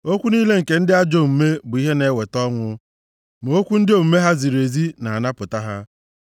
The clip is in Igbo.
Okwu niile nke ndị ajọ omume bụ ihe na-eweta ọnwụ, ma okwu ndị omume ha ziri ezi na-anapụta ha.